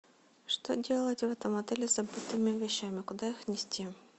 что делать в этом отеле с забытыми вещами куда их нести